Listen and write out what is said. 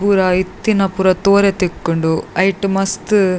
ಪೂರ ಇತ್ತಿನ ಪೂರ ತೂಯೆರೆ ತಿಕ್ಕುಂಡು ಐಟ್ ಮಸ್ತ್--